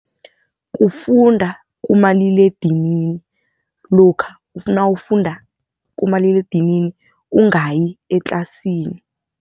Kufunda kumaliledinini lokha nawufunda kumaliledinini ungayi etlasini.